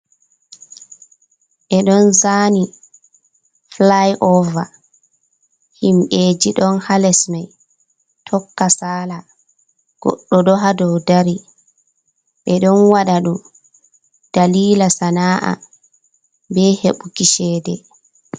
Be don zani fly over, himbeji don halesmai tokka sala goɗdo doha doudari be don wada dum dalila sana’a be heɓuki chede.